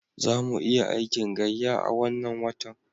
Za mu iya aikin gayya a wannan watan.